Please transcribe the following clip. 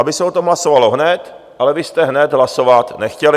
Aby se o tom hlasovalo hned, ale vy jste hned hlasovat nechtěli.